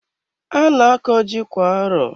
A na-akọ ji kwa arọ.